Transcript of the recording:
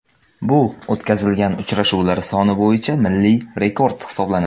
Bu o‘tkazilgan uchrashuvlar soni bo‘yicha milliy rekord hisoblanadi.